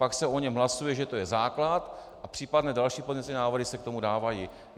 Pak se o něm hlasuje, že to je základ, a případné další pozměňující návrhy se k tomu dávají.